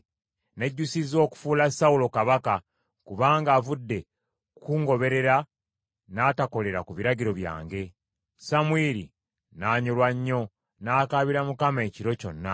“Nejjusizza okufuula Sawulo kabaka, kubanga avudde kukungoberera, n’atakolera ku biragiro byange.” Samwiri n’anyolwa nnyo, n’akabira Mukama ekiro kyonna.